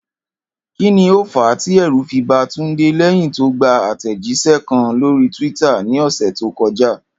Kí ni ó fàá tí è̩rù fi ba Túndé lé̩yìn tó gba àtè̩jís̩e̩ kan lórí twitter ní ò̩sè̩ tó ko̩já?